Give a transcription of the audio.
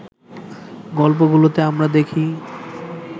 গল্পগুলোতে আমরা দেখি